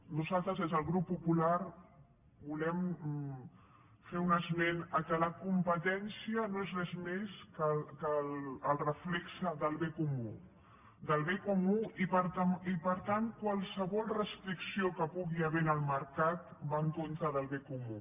nosaltres des del grup popular volem fer un esment del fet que la competència no és res més que el reflex del bé comú i per tant qualsevol restricció que hi pugui haver al mercat va en contra del bé comú